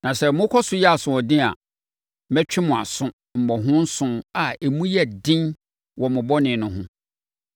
“ ‘Na sɛ mokɔ so yɛ asoɔden a, mɛtwe mo aso mmɔho nson a emu yɛ den wɔ mo bɔne no ho.